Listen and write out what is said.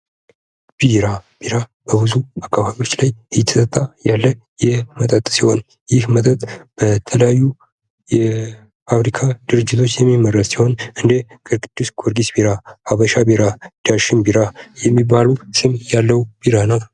ቢራ በብዙ አካባቢዎች ላይ እየጠጣ ያለ መጠጥ ሲሆን ይህ መጠጥ በተለያዩ የፋብሪካ ድርጅቶች የሚመረት ሲሆን እንደ ቅዱስ ጊዮርጊስ ቢራ፥ ሀበሻ ቢራ፥ ዳሽን ቢራ የሚባሉ ስም ያለው ቢራ ነው።